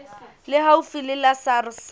le haufi le la sars